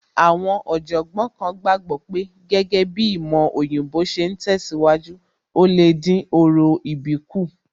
Àwọn Ọ̀jọ̀gbọ́n kan gbàgbọ́ pé gẹ́gẹ́ bíi ìmọ̀ òyìnbó ṣe ń tẹ̀síwájú, ò lè dín orò ìbí kù